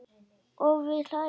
Og við hlæjum.